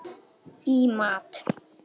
í mat.